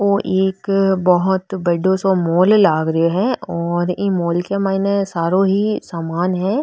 औ एक बहोत बड़ो सो मोल लागरो है और ई मोल के माइन सारो ही सामान है।